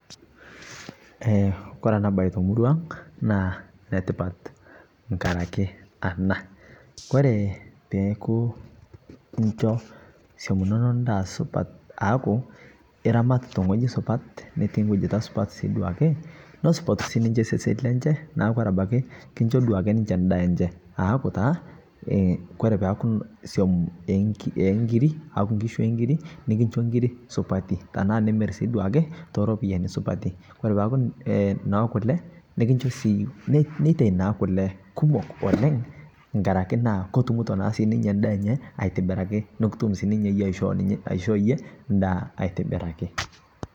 Eeh kore ana baye te murua ang' naa netipaat ng'arakii ana, kore peeku inchoo soum enono ndaa supaat aaku eramaat te ng'oji supaat netii nkujitaa supaat duake, nesupaat sii ninchee sesen lenchee, neeku kore abakii kinchoo duake ninchee ndaa enchee. Aaku taa kore pee aaku soum e ng'irii aaku nkishuu e ng'irii nikinchoo ng'iriii supaati tana nimiir duake to ropiani supaati. Kore paa aaku ee no kulee nikinchoo sii neetie naa kulee kumook oleng ng'araki naa kotumutoo naa sii ninyee ndaa enye aitibiraki nokutuum taa ninye eiyee aishoo eiyee ndaa aitibiraki.